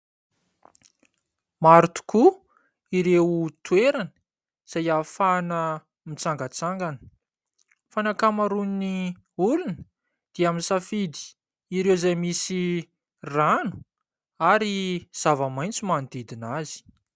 Maro tokoa ireo toerana izay ahafahana mitsangatsangana fa ny ankamaroan'ny olona dia misafidy ireo izay misy rano ary zava-maitso manodidina azy.